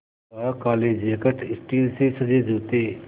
वह काले jacket steel से सजे जूते